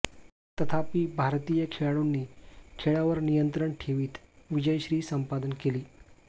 तथापि भारतीय खेळाडूंनी खेळावर नियंत्रण ठेवीत विजयश्री संपादन केली